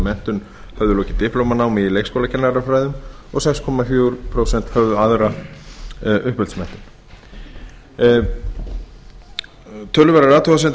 menntun höfðu lokið diplóma námi í leikskólakennarafræðum og sex komma fjögur prósent höfðu aðra uppeldismenntun töluverðar athugasemdir